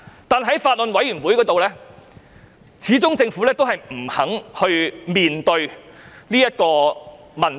但是，在法案委員會，政府始終不肯面對這個問題。